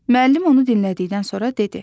Müəllim onu dinlədikdən sonra dedi: